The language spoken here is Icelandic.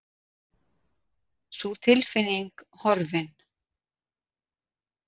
Sú tilfinning horfin.